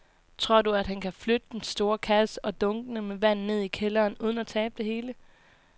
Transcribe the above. Tror du, at han kan flytte den store kasse og dunkene med vand ned i kælderen uden at tabe det hele?